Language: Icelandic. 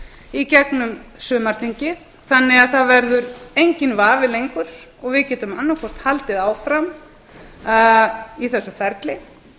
í gegnum sumarþingið þannig að það verður enginn vafi lengur og við getum annað hvort haldið áfram í þessu ferli